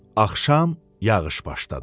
Axşam yağış başladı.